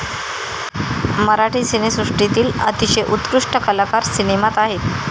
मराठी सिनेसृष्टीतील अतिशय उत्कृष्ट कलाकार सिनेमात आहे.